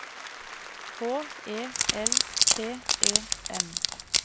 H E L T E N